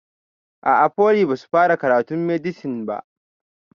A'a foli basu fara karatun medisin ba